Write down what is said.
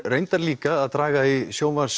reyndar líka að draga í